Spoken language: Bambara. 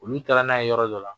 Olu taara n'a ye yɔrɔ dɔ la